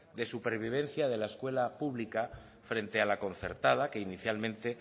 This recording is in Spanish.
de supervivencia de la escuela pública frente a la concertada que inicialmente